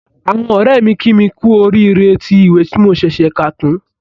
Àwọn ọ̀rẹ́ mi kí mi kú oríire tí ìwé tí mo ṣẹ̀ṣẹ̀ kà tán